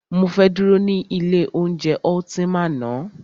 Mọ fẹ́ dúró ní ilé oúnjẹ Ultima ná.